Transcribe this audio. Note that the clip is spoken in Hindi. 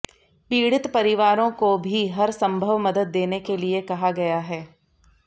पीड़ित परिवारों को भी हर संभव मदद देने के लिए कहा गया है